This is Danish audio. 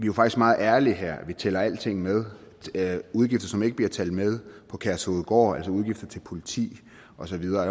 jo faktisk meget ærlige her vi tæller alting med udgifter som ikke bliver talt med på kærshovedgård altså udgifter til politi og så videre